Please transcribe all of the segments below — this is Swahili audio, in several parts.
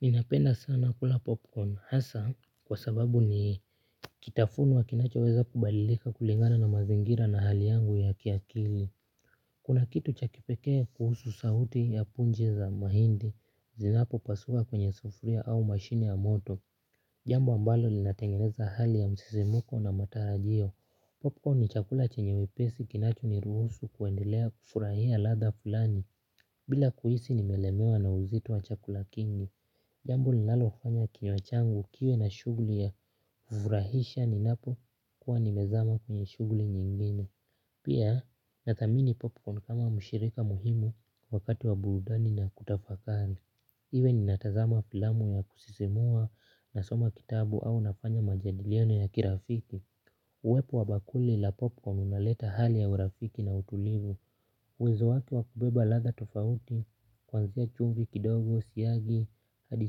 Ninapenda sana kula popcorn hasa kwa sababu ni kitafunwa kinachoweza kubalidika kulingana na mazingira na hali yangu ya kiakili. Kuna kitu cha kipekee kuhusu sauti ya punji za mahindi zinapopasuka kwenye sufuria au mashini ya moto. Jambo ambalo linatengeneza hali ya msisimko na matarajio. Popcorn ni chakula chenye wepesi kinachoniruhusu kuendelea kufurahia ladha fulani. Bila kuhisi nimelemewa na uzito wa chakula kingi. Jambo linalofanya kinywa changu kiwe na shughuli ya furahisha ninapokuwa nimezama kwenye shughuli nyingine. Pia nathamini popcorn kama mshirika muhimu wakati wa burudani na kutafakari. Iwe ninatazama filamu ya kusisimua nasoma kitabu au nafanya majadiliano ya kirafiki. Uwepo wa bakuli la popcorn unaleta hali ya urafiki na utulivu. Uwezo wake wa kubeba ladha tofauti kuanzia chumvi kidogo siagi hadi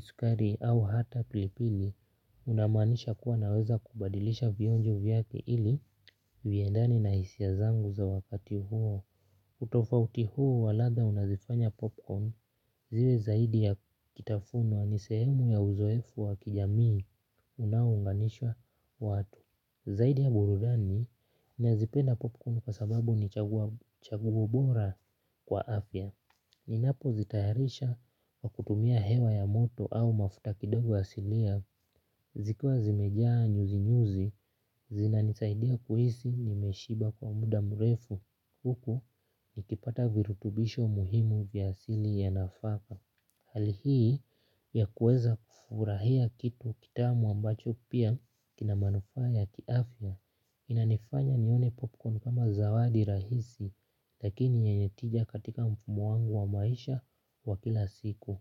sukari au hata pilipili. Unamaanisha kuwa naweza kubadilisha vionjo vyake ili viendane na hisia zangu za wakati huo. Utofauti huo wa latha unazifanya popcorn ziwe zaidi ya kitafunwa ni sehemu ya uzoefu wa kijamii unaounganisha watu. Zaidi ya burudani nazipenda popcorn kwa sababu ni chaguo bora kwa afya. Ninapozitayarisha kwa kutumia hewa ya moto au mafuta kidogo asilia zikiwa zimejaa nyuzi nyuzi zinanisaidia kuhisi nimeshiba kwa muda mrefu huku nikipata virutubisho muhimu vya asili ya nafaka. Hali hii ya kueza kufurahia kitu kitamu ambacho pia kina manufaa ya kiafya. Inanifanya nione popcorn kama zawadi rahisi lakini yenye tija katika muangu wa maisha wa kila siku.